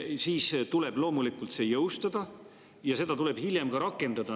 Loomulikult tuleb see jõustada ja seda tuleb hiljem rakendama hakata.